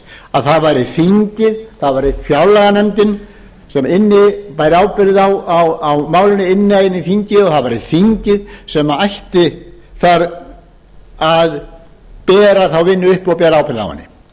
að það væri þingið það væri fjárlaganefndin sem bæri ábyrgð á málinu inn í þingið og það væri þingið sem ætti að bera þá vinnu uppi og